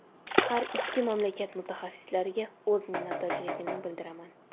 Har ikkala mamlakat mutaxassislariga o‘z minnatdorligimni bildiraman.